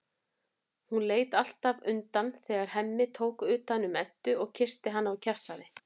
Hún leit alltaf undan þegar Hemmi tók utan um Eddu og kyssti hana og kjassaði.